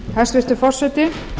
hæstvirtur forseti